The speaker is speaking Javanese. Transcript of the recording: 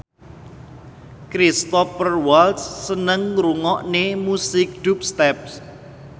Cristhoper Waltz seneng ngrungokne musik dubstep